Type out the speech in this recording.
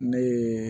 Ne ye